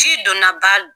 Ci donna ba